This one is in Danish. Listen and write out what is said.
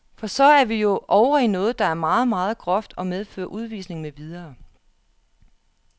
For så er vi jo ovre i noget der er meget, meget groft, og medfører udvisning med videre.